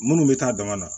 Minnu bɛ taa dama na